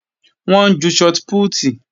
Wọ́n ń ju shọt pútì